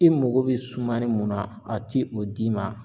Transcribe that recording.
I mago be sumani mun na a ti o d'i ma.